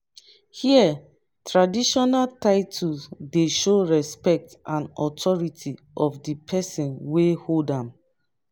here traditional titles dey show respect and authority of di pesin wey hold am.